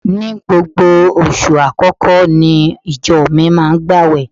Ní gbogbo oṣù àkọ́kọ́ ní ìjọ mi máa ń gbàwẹ̀